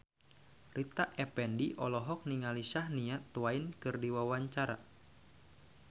Rita Effendy olohok ningali Shania Twain keur diwawancara